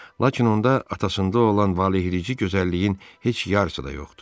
Lakin onda atasında olan valeh edici gözəlliyin heç yarısı da yoxdur.